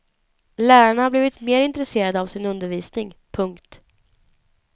Lärarna har blivit mer intresserade av sin undervisning. punkt